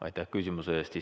Aitäh küsimuse eest!